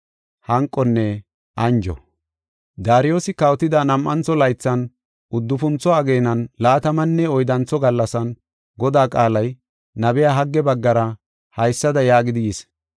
Daariyosi kawotida nam7antho laythan, uddufuntho ageenan laatamanne oyddantho gallasan, Godaa qaalay nabiya Hagge baggara haysada yaagidi yis.